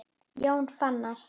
Jón Fannar.